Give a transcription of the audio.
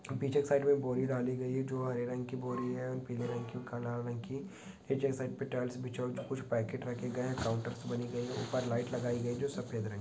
पीछे एक साइड में बोरी डाली गई है जो हरे रंग की बोरी है एंड पीले रंग की काला रंग की पीछे एक साइड टाइल्स बिछी है कुछ पैकेट रखे गए है काउंटर्स बने गए है ऊपर लाइट लगाए गए है जो व्हाइट कलर के है।